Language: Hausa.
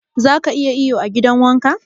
Zaka iya iyo a gidan wanka?